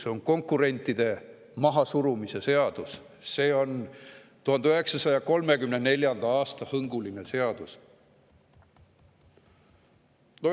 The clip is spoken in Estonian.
See on konkurentide mahasurumise seadus, see on 1934. aasta hõnguga seadus.